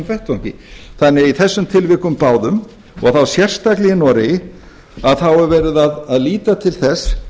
vettvangi þannig að í þessum tilvikum báðum og þá sérstaklega í noregi er verið að líta til þess